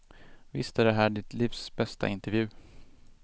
Visst är det här ditt livs bästa intervju?